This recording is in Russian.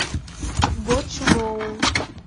бочжоу